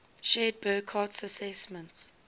shared burckhardt's assessment